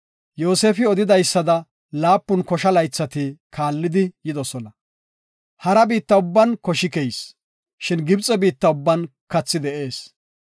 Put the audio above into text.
Yoosefi odidaysada laapun kosha laythati kaalli yidosona. Hara biitta ubban koshi keyis, shin Gibxe biitta ubban kathay de7ees.